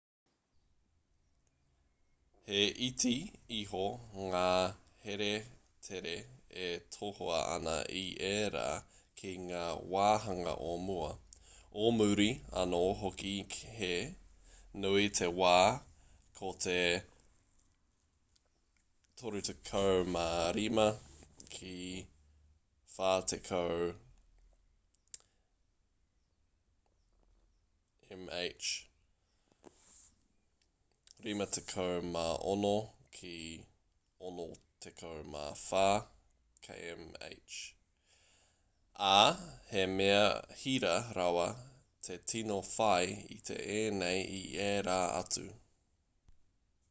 he iti iho ngā here tere e tohua ana i ērā ki ngā wāhanga o mua o muri anō hoki - he nui te wā ko te 35-40 m/h 56-64 km/h - ā he mea hira rawa te tino whai i ēnei i ērā atu